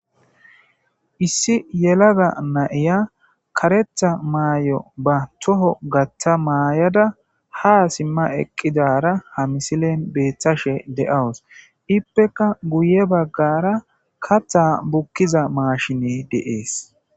issi yelaga nayiya karetha maay7o ba toho gaththa maayada ha simma eqqidara ha misilen beeththashe de7awus ippeka guye baggara katha bukkiza maashine deees